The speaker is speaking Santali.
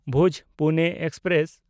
ᱵᱷᱩᱡᱽ–ᱯᱩᱱᱮ ᱮᱠᱥᱯᱨᱮᱥ